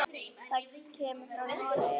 Það kemur frá Noregi.